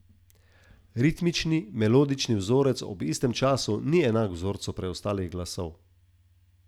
Ritmični in melodični vzorec ob istem času ni enak vzorcu preostalih glasov.